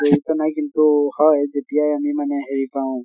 জড়িত নাই কিন্তু হয় যেতিয়া আমি মানে হেৰি পাওঁ